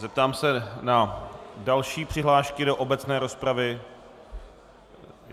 Zeptám se na další přihlášky do obecné rozpravy.